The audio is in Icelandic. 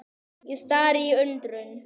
Ég stari í undrun.